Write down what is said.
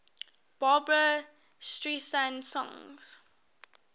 barbra streisand songs